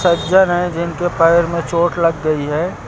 सज्जन हैं जिनके पैर पर चोट लग गई है।